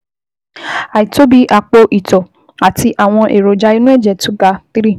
Àìtóbi àpò-ìtọ́ àti àwọn èròjà inú ẹ̀jẹ̀ tó ga three